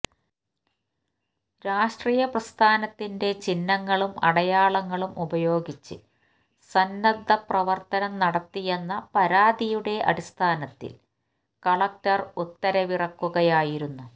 രാഷ്ട്രീയ പ്രസ്ഥാനത്തിന്റെ ചിഹ്നങ്ങളും അടയാളങ്ങളും ഉപയോഗിച്ച് സന്നദ്ധ പ്രവർത്തനം നടത്തിയെന്ന പരാതിയുടെ അടിസ്ഥാനത്തിൽ കലക്ടർ ഉത്തരവിറക്കുകയായിരുന്നു